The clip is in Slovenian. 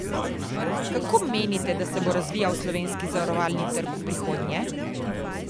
Kako menite, da se bo razvijal slovenski zavarovalni trg v prihodnje?